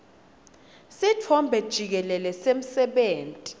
sitfombe jikelele semsebenti